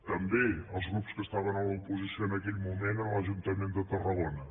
també els grups que estaven a l’oposició en aquell moment a l’ajuntament de tarragona